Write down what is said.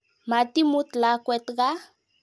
Matimut lakwet kaa.